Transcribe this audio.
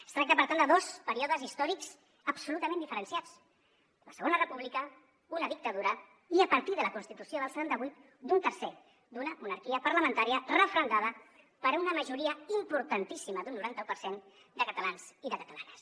es tracta per tant de dos períodes històrics absolutament diferenciats la segona república una dictadura i a partir de la constitució del setanta vuit d’un tercer d’una monarquia parlamentària referendada per una majoria importantíssima d’un noranta un per cent de catalans i de catalanes